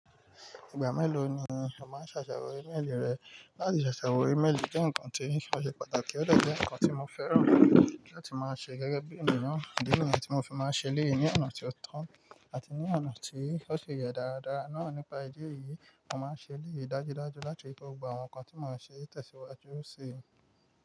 Ìgbà mélòó ni o máa ń ṣàṣàwọ̀ ímélì rẹ? Láti ṣàṣàwọ̀ ímélì jẹ́ nǹkan tí ó ṣe pàtàkì, ó dẹ̀ jẹ nǹkan tí mo fẹ́ràn láti máa ṣe gẹ́gẹ́ bí ènìyàn. Idi niyen tí mo fi máa ń ṣe eléyì ní ọ̀nà tí ó tán àti ní ọ̀nà tí ó ṣe yẹ daradara náà nípa ìdí èyí, mo máa ń ṣe eléyì dájúdájú láti ri pe gbogbo àwọn nǹkan tí mo ṣe tẹ̀síwájú ṣii.